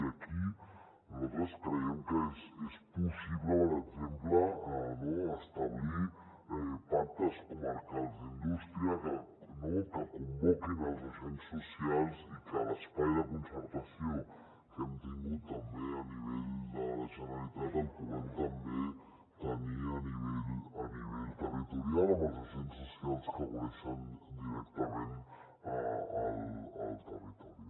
i aquí nosaltres creiem que és possible per exemple establir pactes comarcals d’indústria que convoquin els agents socials i que l’espai de concertació que hem tingut a nivell de la generalitat el puguem també tenir a nivell territorial amb els agents socials que coneixen directament el territori